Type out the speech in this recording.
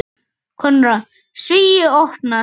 Konráð: Svíi opnast.